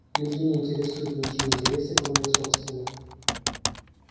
людей не интересуют ничьи интересы кроме их собственных